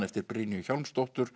eftir Brynju